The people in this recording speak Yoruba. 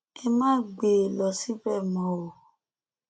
ẹ má gbé e lọ síbẹ mọ o